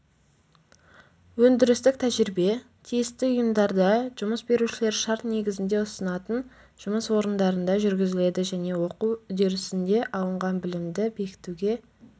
өндірістік тәжірибе тиісті ұйымдарда жұмыс берушілер шарт негізінде ұсынатын жұмыс орындарында жүргізіледі және оқу үдерісінде алынған білімді бекітуге